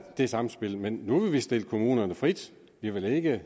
det samspil men nu vil vi stille kommunerne frit vi vil ikke